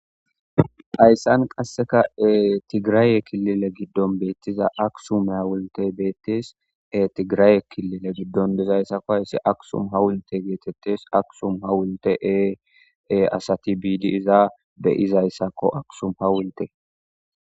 Hayssan qasseka tigiraye kilile giddon beettiza aksum hawulttey bettees tigiraye kilile giddon dizayssako hayssi Aksum hawultte getetes Aksum hawultte asati biidi iza be'izayssako Aksum hawultte